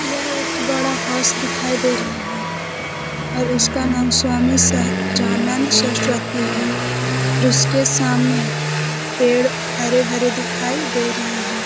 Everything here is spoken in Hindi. यह एक बड़ा हाउस दिखाई दे रहा है और उसका नाम स्वामी सहजानंद सरस्वती है और उसके सामने पेड़ हरे-भरे दिखाई दे रहे हैं।